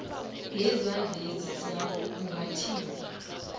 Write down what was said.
ngezandleni zakho ungathinti